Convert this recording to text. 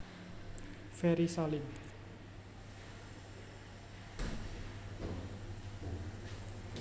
Ferry Salim